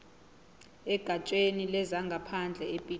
egatsheni lezangaphandle epitoli